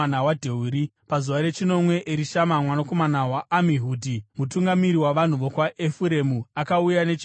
Pazuva rechinomwe, Erishama mwanakomana waAmihudhi, mutungamiri wavanhu vokwaEfuremu, akauya nechipiriso chake.